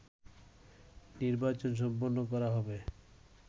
নির্বাচন সম্পন্ন করা হবে